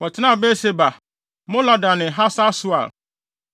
Wɔtenaa Beer-Seba, Molada ne Hasar-Sual,